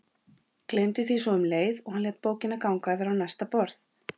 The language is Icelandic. Gleymdi því svo um leið og hann lét bókina ganga yfir á næsta borð.